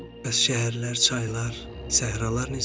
Bəs şəhərlər, çaylar, səhralar necə?